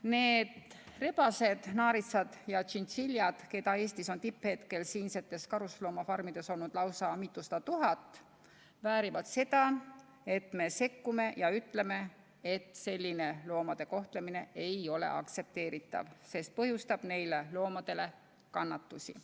Need rebased, naaritsad ja tšintšiljad, keda tippajal on Eesti karusloomafarmides olnud lausa mitusada tuhat, väärivad seda, et me sekkume ja ütleme, et selline loomade kohtlemine ei ole aktsepteeritav, sest põhjustab neile loomadele kannatusi.